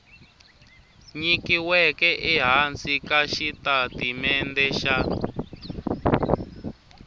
nyikiweke ehansi ka xitatimende xa